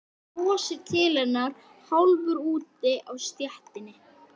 Í myndlistinni ert þú mér fremri.